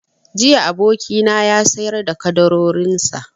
Jiya abokina ya sayar da ƙaddarorin sa